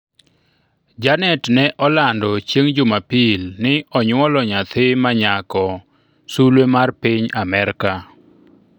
Janet ne olando chieng' jumapil ni onyuolo nyathi manyako sulwe mar piny Amerka